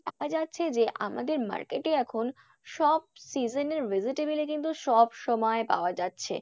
দেখা যাচ্ছে যে আমাদের market এ এখন সব season এর vegetable ই কিন্তু সব সময় পাওয়া যাচ্ছে।